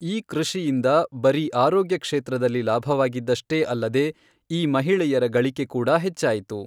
ಈ ಕೃಷಿಯಿಂದ ಬರೀ ಅರೋಗ್ಯ ಕ್ಷೇತ್ರದಲ್ಲಿ ಲಾಭವಾಗಿದ್ದಷ್ಟೇ ಅಲ್ಲದೆ ಈ ಮಹಿಳೆಯರ ಗಳಿಕೆ ಕೂಡ ಹೆಚ್ಚಾಯಿತು.